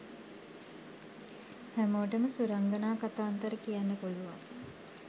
හැමෝටම සුරංගනා කතාන්තර කියන්න පුළුවන්.